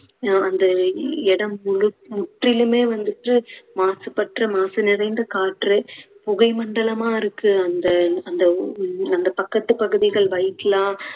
நா~ அந்த இடம் முழு~ முற்றிலுமே வந்துட்டு மாசுபற்று மாசு நிறைந்த காற்று, புகை மண்டலமா இருக்கு அந்த அந்த அந்த ஊ~ அந்த பக்கத்து பகுதிகள்